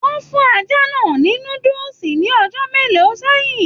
Wọn fún ajá náà ní núdúsí ní ọjọ mélòó sẹyìn.